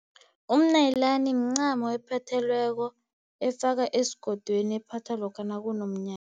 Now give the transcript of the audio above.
Umnayilani mincamo ephothelweko efakwa esigodweni ephathwa lokha nakunomnyanya.